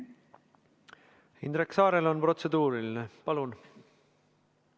Indrek Saarel on protseduuriline küsimus, palun!